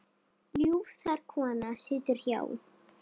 Ljúf þar kona situr hjá.